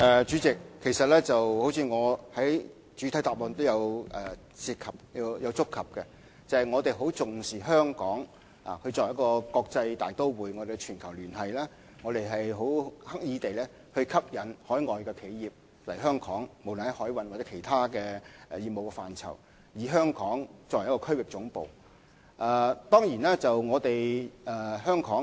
主席，正如我在主體答覆中所提及，我們十分重視香港作為國際大都會及全球連繫者的角色，不論在海運或其他業務範疇，我們均刻意吸引海外企業來港，香港也成為一個區域總部。